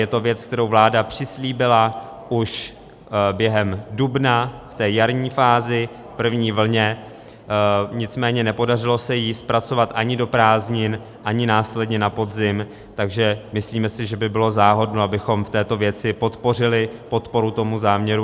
Je to věc, kterou vláda přislíbila už během dubna v té jarní fázi, v první vlně, nicméně nepodařilo se ji zpracovat ani do prázdnin, ani následně na podzim, takže myslíme si, že by bylo záhodno, abychom v této věci podpořili podporu tomu záměru.